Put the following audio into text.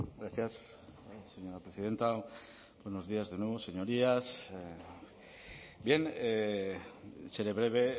gracias señora presidenta buenos días de nuevo señorías bien seré breve